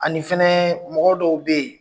Ani fana mɔgɔ dɔw bɛ yen